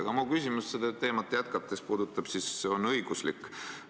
Aga mu küsimus seda teemat jätkates on õiguslik.